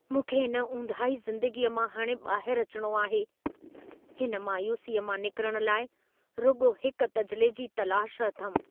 मूंखे इन ऊंदाही ज़िंदगीअ मां हाणे ॿाहिरु अचिणो आहे। हिन मायूसीअ मां निकिरण लाइ रुॻो हिक तजिले जी तलाश अथमि।